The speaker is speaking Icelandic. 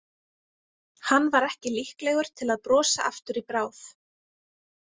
Hann var ekki líklegur til að brosa aftur í bráð.